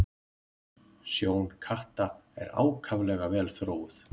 Sjón katta er ákaflega vel þróuð.